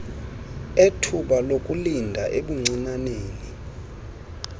ethuba lokulinda ebuncinaneni